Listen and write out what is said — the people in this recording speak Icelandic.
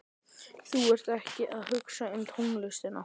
Þú ert ekkert að hugsa um tónlistina.